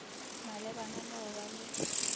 malebana le go ba le